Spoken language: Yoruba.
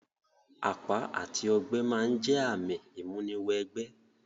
Àpá àti ogbẹ́ ma n jẹ ààmì ìmúni wẹ gbẹ́